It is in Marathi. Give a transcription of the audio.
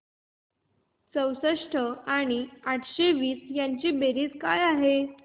चौसष्ट बेरीज आठशे वीस काय आहे